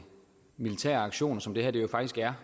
militære aktioner som det her jo faktisk er